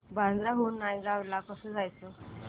बांद्रा हून नायगाव ला कसं जायचं